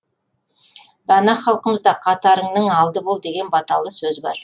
дана халқымызда қатарыңның алды бол деген баталы сөз бар